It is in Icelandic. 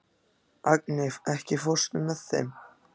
Agni, ekki fórstu með þeim?